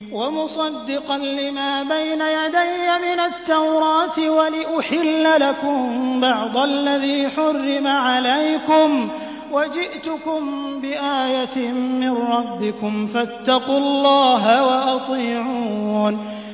وَمُصَدِّقًا لِّمَا بَيْنَ يَدَيَّ مِنَ التَّوْرَاةِ وَلِأُحِلَّ لَكُم بَعْضَ الَّذِي حُرِّمَ عَلَيْكُمْ ۚ وَجِئْتُكُم بِآيَةٍ مِّن رَّبِّكُمْ فَاتَّقُوا اللَّهَ وَأَطِيعُونِ